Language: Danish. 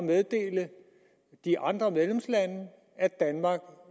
meddele de andre medlemslande at danmark